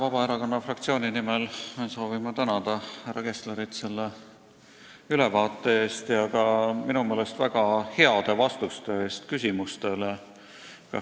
Vabaerakonna fraktsiooni nimel soovin tänada härra Kesslerit selle ülevaate eest ja ka minu meelest väga heade vastuste eest.